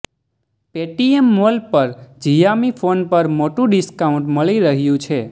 Paytm mall પર Xiaomi phone પર મોટું ડિસ્કાઉન્ટ મળી રહ્યું છે